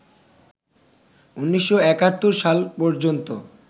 ১৯৭১ সাল পর্যন্ত